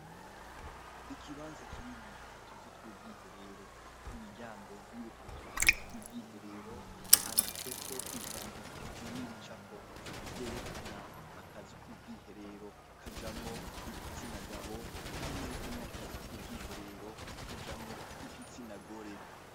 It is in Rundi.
Ikibanza kirimwo utuzu tw'ubwiherero, ku miryango yutwo tuzu tw'ubwiherero handitseko ivyandiko n'ibicapo vyerekana akazu k'ubwiherero kajamwo igitsinagabo hamwe n'akazu k'ubwiherero kajamwo igitsinagore.